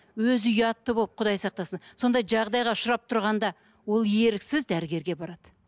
өзі ұятты болып құдай сақтасын сондай жағдайға ұшырап тұрғанда ол еріксіз дәрігерге барады